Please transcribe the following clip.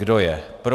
Kdo je pro?